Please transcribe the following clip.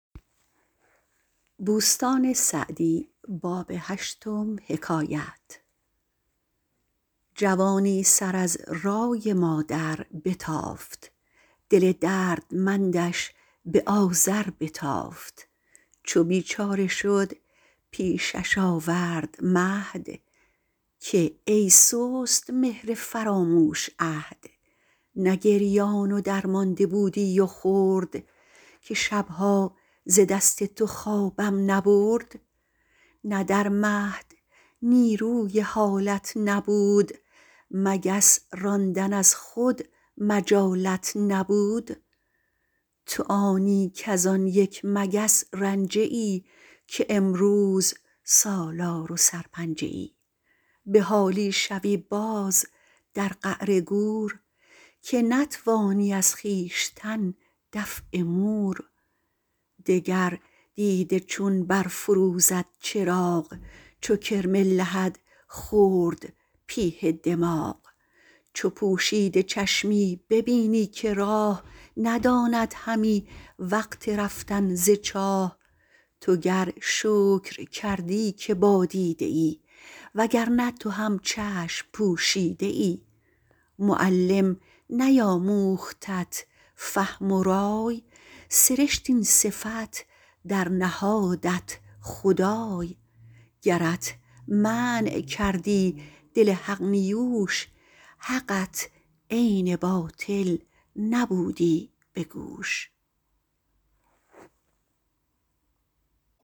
جوانی سر از رای مادر بتافت دل دردمندش به آذر بتافت چو بیچاره شد پیشش آورد مهد که ای سست مهر فراموش عهد نه گریان و درمانده بودی و خرد که شبها ز دست تو خوابم نبرد نه در مهد نیروی حالت نبود مگس راندن از خود مجالت نبود تو آنی کز آن یک مگس رنجه ای که امروز سالار و سرپنجه ای به حالی شوی باز در قعر گور که نتوانی از خویشتن دفع مور دگر دیده چون برفروزد چراغ چو کرم لحد خورد پیه دماغ چو پوشیده چشمی ببینی که راه نداند همی وقت رفتن ز چاه تو گر شکر کردی که با دیده ای وگر نه تو هم چشم پوشیده ای معلم نیاموختت فهم و رای سرشت این صفت در نهادت خدای گرت منع کردی دل حق نیوش حقت عین باطل نبودی به گوش